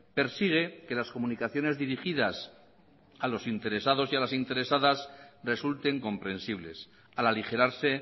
persigue que las comunicaciones dirigidas a los interesados y a las interesadas resulten comprensibles al aligerarse